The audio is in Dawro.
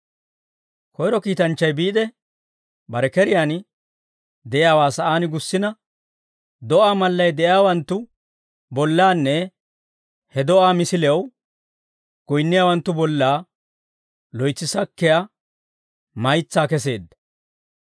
Koyro kiitanchchay biide, bare keriyaan de'iyaawaa sa'aan gussina, do'aa mallay de'iyaawanttu bollanne he do'aa misilew goyinniyaawanttu bolla loytsi sakkiyaa maytsaa keseedda.